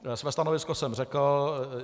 Své stanovisko jsem řekl.